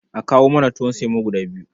A kawo mana tuwon semo guda biyu.